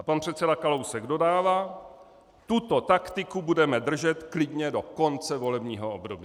A pan předseda Kalousek dodává: Tuto taktiku budeme držet klidně do konce volebního období.